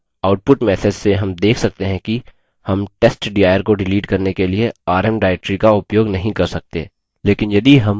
output message से rm देख सकते हैं कि rm testdir को डिलीट करने के लिए rm directory का उपयोग नहीं कर सकते